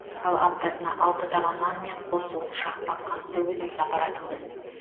ал аптасына алты таба нан мен қос уыс шақпақ қантты өзіміз апаратынбыз